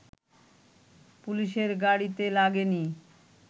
পুলিশের গাড়িতে লাগেনি